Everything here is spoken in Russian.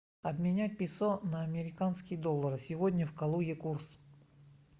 обменять песо на американские доллары сегодня в калуге курс